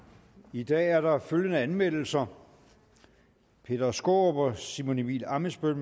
i dag er der følgende anmeldelser peter skaarup og simon emil ammitzbøll